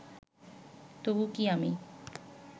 তবু কি আমি